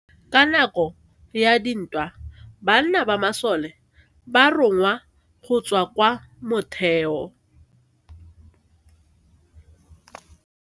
Ka nako ya dintwa banna ba masole ba rongwa go tswa kwa motheo.